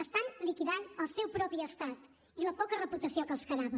estan liquidant el seu propi estat i la poca reputació que els quedava